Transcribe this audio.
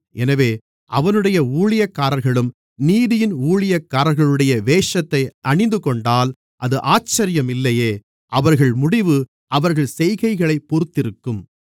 எனவே அவனுடைய ஊழியக்காரர்களும் நீதியின் ஊழியக்காரர்களுடைய வேஷத்தை அணிந்துகொண்டால் அது ஆச்சரியம் இல்லையே அவர்கள் முடிவு அவர்கள் செய்கைகளைப் பொருத்திருக்கும்